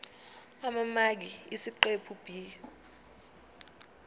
amamaki esiqephu b